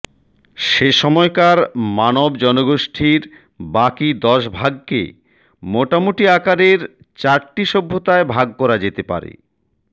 সেসময়কার মানব জনগোষ্ঠীর বাকি দশভাগকে মোটামুটি আকারের চারটে সভ্যতায় ভাগ করা যেতে পারেঃ